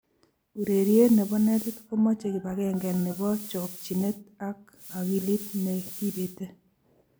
Urerie ne bo netit komoche kibakenge ne bo chokchinee ak akilit ne kibetei.